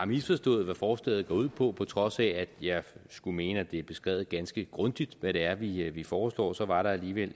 misforstået hvad forslaget går ud på på trods af at jeg skulle mene at det er beskrevet ganske grundigt hvad det er vi vi foreslår så var der alligevel